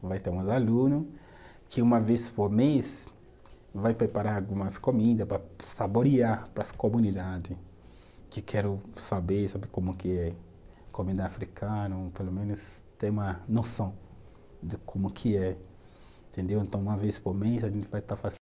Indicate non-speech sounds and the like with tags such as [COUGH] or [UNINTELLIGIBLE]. Vai ter [UNINTELLIGIBLE] que, uma vez por mês, vai preparar algumas comida para saborear para as comunidade que querem saber, saber como que é a comida africano, pelo menos ter uma noção de como que é, entendeu. Então, uma vez por mês, a gente vai estar [UNINTELLIGIBLE]